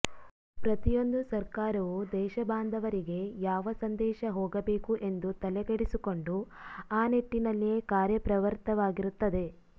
ಪ್ರತಿಯೊಂದು ಸರ್ಕಾರವು ದೇಶಬಾಂಧವರಿಗೆ ಯಾವ ಸಂದೇಶ ಹೋಗಬೇಕು ಎಂದು ತಲೆಕೆಡಿಸಿಕೊಂಡು ಆ ನಿಟ್ಟಿನಲ್ಲಿಯೇ ಕಾರ್ಯಪ್ರವೃತ್ತವಾಗಿರುತ್ತದೆ